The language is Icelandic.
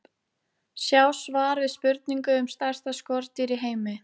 Sjá svar við spurningu um stærsta skordýr í heimi.